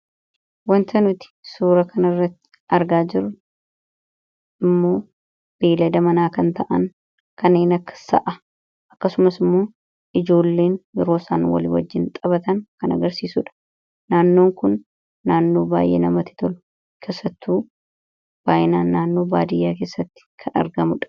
Waanta nuti suuraa kana irratti argaa jiruu immoo beladaa mana kan ta'aan kannen akka Sa'aa. Akkasumaas immoo ijjoolleen yeroo isaan walii wajiinntaphataan kan agarsisuudha. Naannoo kun baay'ee kan namatti toluudha. Keessattu naannoon kun naannoo baadiyaatti argamuudha.